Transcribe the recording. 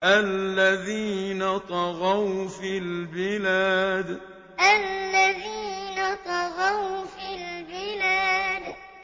الَّذِينَ طَغَوْا فِي الْبِلَادِ الَّذِينَ طَغَوْا فِي الْبِلَادِ